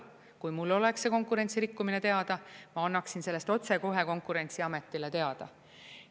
Kui mul oleks see konkurentsirikkumine teada, ma annaksin sellest otsekohe Konkurentsiametile teada.